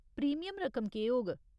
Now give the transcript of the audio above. Premium रकम केह् होग?